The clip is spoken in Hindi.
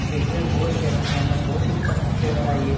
दिखने मे बहुत ही अच्छे है एकदम बहुत ही प्रसिद्ध जगह है ये।